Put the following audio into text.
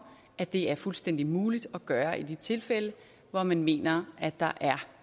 at det er fuldstændig muligt at gøre i de tilfælde hvor man mener at der er